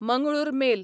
Mangalore mail